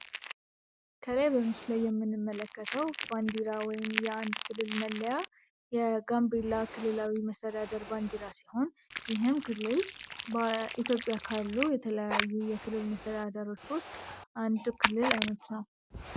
ከላይ በምስሉ ላይ የምንመለከተው ባንዲራ ወይም የአንድ ክልል መለያ የጋንብላ ክልላዊ መስተዳደር ባንዲራ ሲሆን፤ ይህም ክልል ኢትዮጵያ ካሉ የተለያዩ የክልል መሰተዳደሪያዎች ውስጥ አንድ ክልል አይነት ነው።